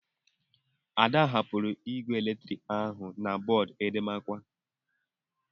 Ada hapụrụ igwe eletrik ahụ na bọọdụ edemakwa.